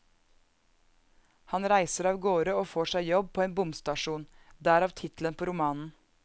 Han reiser av gårde og får seg jobb på en bomstasjon, derav tittelen på romanen.